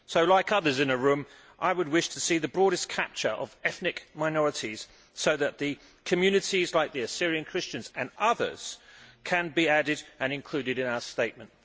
So, like others in the room, I would like to see the broadest capture of ethnic minorities so that the communities like the Assyrian Christians and others can be added and included in our statement.